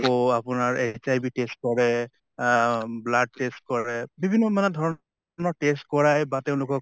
ক আপোনাৰ HIV test কৰে, আহ blood test কৰে বিভিন্ন মানে ধৰণৰ test কৰায় বা তেওঁলোকক